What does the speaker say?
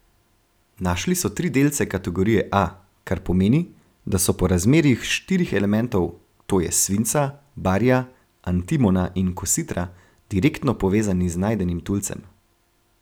Našli so tri delce kategorije A, kar pomeni, da so po razmerjih štirih elementov, to je svinca, barija, antimona in kositra, direktno povezani z najdenim tulcem.